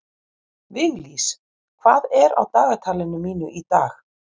Viglís, hvað er á dagatalinu mínu í dag?